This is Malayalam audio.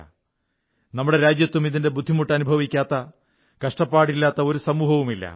നമ്മുടെ രാജ്യത്തും ഇതിന്റെ ബുദ്ധിമുട്ട് അനുഭവിക്കാത്ത കഷ്ടപ്പാടില്ലാത്ത ഒരു സമൂഹവുമില്ല